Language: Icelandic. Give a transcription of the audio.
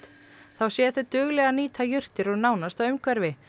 þá séu þau dugleg að nýta jurtir úr nánasta umhverfi